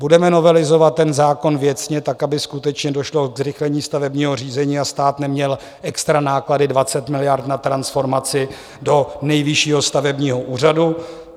Budeme novelizovat ten zákon věcně tak, aby skutečně došlo ke zrychlení stavebního řízení a stát neměl extra náklady 20 miliard na transformaci do Nejvyššího stavebního úřadu.